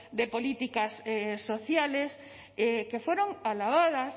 de políticas sociales que fueron alabadas